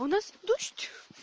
у нас дождь